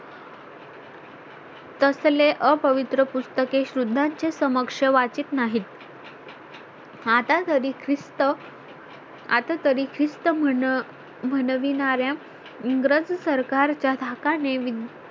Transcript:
तसले अपवित्र पुस्तके शूद्रांचे समक्ष वाचीत नाहीत हातात अधिकृत आता तरी ख्रिस्त म्हणविणार्‍या इंग्रज सरकारच्या धाकाने